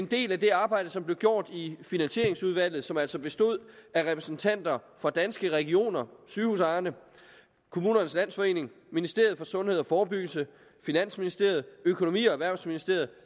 dette i det arbejde som blev gjort i finansieringsudvalget som altså bestod af repræsentanter for danske regioner sygehusejerne kommunernes landsforening ministeriet for sundhed og forebyggelse finansministeriet økonomi og erhvervsministeriet